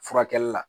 Furakɛli la